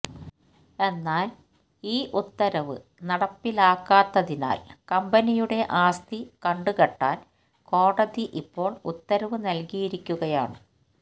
എന്നാല് ഈ ഉത്തരവ് നടപ്പിലാക്കാത്തതിനാല് കമ്പനിയുടെ ആസ്തി കണ്ടുകെട്ടാന് കോടതി ഇപ്പോള് ഉത്തരവ് നല്കിയിരിക്കുകയാണ്